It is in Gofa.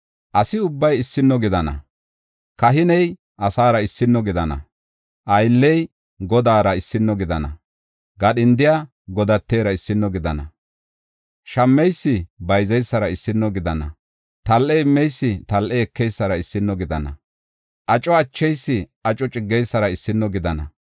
Asi ubbay issino gidana; kahiney asaara issino gidana; aylley godaara issino gidana; gadhindiya godatera issino gidana; shammeysi bayzeysara issino gidana; tal7e immeysi tal7e ekeysara issino gidana; aco acheysi aco ciggeysara issino gidana.